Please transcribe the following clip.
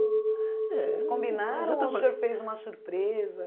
é... Eles combinaram ou o senhor fez uma surpresa?